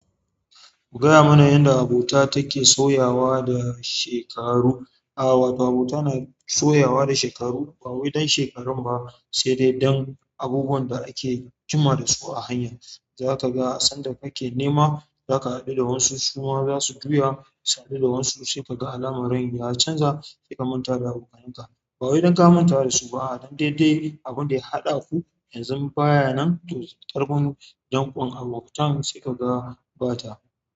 Ku gaya mana yadda abota take sauyawa da shekaru. A'a, ba abota na sauyawa da shekaru bawai dan shekarun ba, sai dai dan abubuwan da ake jima dasu a hanya. Za ka ga sanda kake nema za ka haɗu da wasu, su ma za su juya, su haɗu da wasu sai ka ga alamar rayuwa ya canza, sai ka manta da abokanai ka. Ba wai dan ka manta da su ba a'a, dan de duk abinda ya haɗa ku yanzun ba ya nan to ƙarfin danƙon abotan sai ka ga ba ta.